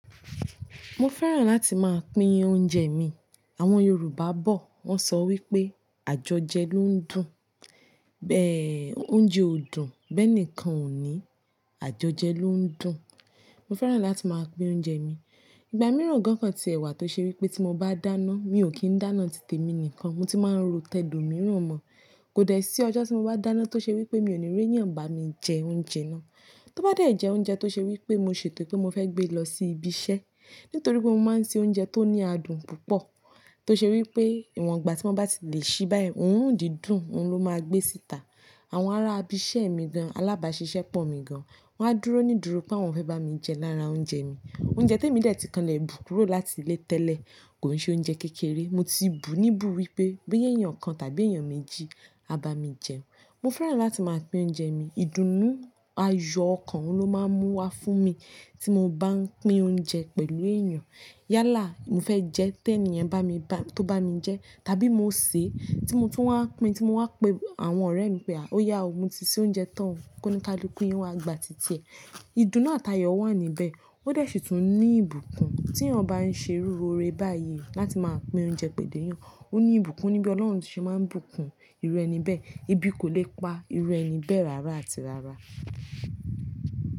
Mo fẹ́ràn láti máa pín oúnjẹ mi. Àwọn Yorùbá bọ̀ wọ́n sọ wípé àjọjẹ ló ń dùn. Ẹ̀ oúnjẹ ò dùn, bẹ́ẹ̀ eniìkan ọ̀ ní àjọjẹ ló ń dùn. Mo fẹ́ràn láti máa pín oúnjẹ mi. Ìgbà mìíràn gan-kán tí ẹwà tó ṣe wípé tí mo bá dáná, mi ò kí ń dáná títí èmi nìkan mo ti máa ń ro tẹ́ó mìíràn mọ́. Kò dẹ̀ sí ọjọ́ tí mo bá dáná tó ṣe wípé mi ò ní rí ẹnìyàn bá mi jẹ oúnjẹ náà. Tó bá dé jẹ oúnjẹ tó ṣe wípé mo ṣètò pé mo fẹ́ gbé lọ sí ibi iṣẹ́. Nítorí pé mo máa ń se oúnjẹ tó ní adùn púpọ̀. Tó ṣe wípé ìwọ̀n ìgbà tí mo bá ti lè ṣí báyìí òrun dí dùn, òun ló máa gbé síta. Àwọn ará ibi iṣẹ́ mi gan-an alábàáṣiṣẹ́ pọ̀ mi gan-an. Wọ́n á dúró nídùúró pé wọ́n fẹ́ bá mi jẹ lára oúnjẹ mi. Oúnjẹ tí èmi dè ti kanlẹ̀ bù kúrò láti ilé tẹ́lẹ̀ kòn ṣe oúnjẹ kékeré. Mo tí bù níbù wípé bí ẹ́yàn kan tàbí èèyàn méjì a bá mi jẹun. Mo fẹ́ràn láti máa pín oúnjẹ mi. Ìdùnnú ayọ̀ okan ló máa ń mú wá fún mi tí mo bá ń pín oúnjẹ pẹ̀lú èèyàn. Yálà mó fẹ́ jẹ́ tí ẹniyàn bá mi bá-- tó bá mi jẹ tàbí mo sè tí mo ti wá pín tí mo wà pẹ́ àwọn ọ̀rẹ́ mi pé à ó yá ọ, mo ti ṣé oúnjẹ tán kó ní ka lukú yin wàgbà títí ẹ. Ìdùnnú àti ayọ̀ wà níbẹ̀. Ó dẹ̀ sì tún ní ìbùkún tí eeyán bá ń ṣe irú óre báyìí láti máa pín oúnjẹ pẹ̀lú èèyàn. Ó ní ìbùkún níbí Ọlọ́run sé máa ń bùkún irú ẹni bẹ́ẹ̀. Ébi kò lè pa irú ẹni bẹ́ẹ̀ rárá àti rárá.